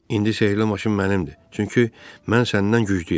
İndi sehrli maşın mənimdir, çünki mən səndən güclüyəm.